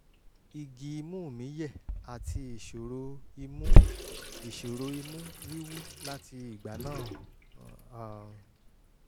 igi imú mí yẹ̀ àti ìṣòro imú ìṣòro imú wíwú láti ìgbà náà um